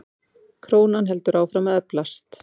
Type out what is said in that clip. Krónan heldur áfram að eflast.